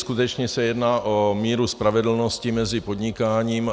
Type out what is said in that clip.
Skutečně se jedná o míru spravedlnosti mezi podnikáním.